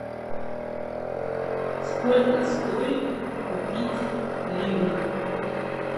сколько стоит купить ливр